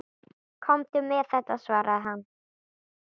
Komdu með þetta, svaraði hann.